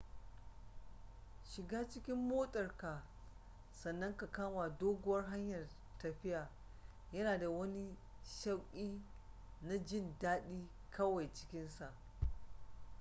shiga cikin motarka sannan ka kama doguwar hanyar tafiya yana da wani shauƙi na jin dadi kawai cikinsa